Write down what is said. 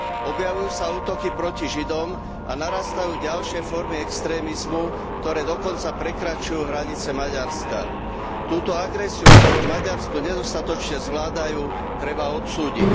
Objavujú sa útoky proti Židom a narastajú ďalšie formy extrémizmu, ktoré dokonca prekračujú hranice Maďarska. Túto agresiu, ktorú v Maďarsku nedostatočne zvládajú, treba odsúdiť.